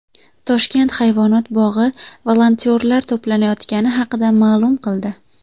Toshkent hayvonot bog‘i volontyorlar to‘planayotgani haqida ma’lum qildi.